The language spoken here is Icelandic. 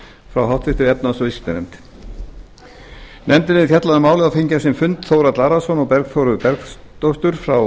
frá háttvirtri efnahags og viðskiptanefnd nefndin hefur fjallað um málið og fengið á sinn fund þórhall arason og bergþóru bergsdóttur frá